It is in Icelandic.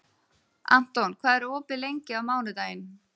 Anton, hvað er opið lengi á mánudaginn?